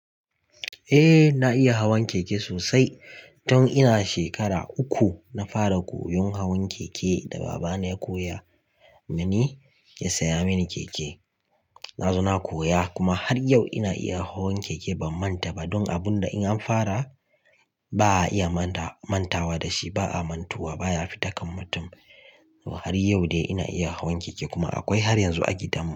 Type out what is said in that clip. Eh na iya hawan keke sosai tun ina shekara uku. Na fara koyon hawan keke da babana ya koya mani, ya saya mini keke. Na zo na koya kuma har yau ina iya hawan keke. Ban manta ba don abun da in an fara ba a iya mantawa da shi. Ba'a mantuwa, baya fita kan mutum. Har yau dai ina iya hawan keke kuma akwai har yanzu a gidan mu.